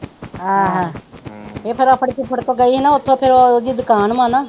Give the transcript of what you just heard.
ਆਹੋ ਇਹ ਫਿਰ ਆਪਣੇ ਫੁਫੜ ਕੋ ਗਈ ਹੀ ਨਾ ਉੱਥੋਂ ਫਿਰ ਓ ਉਹਦੀ ਦੁਕਾਨ ਵਾ ਨਾ।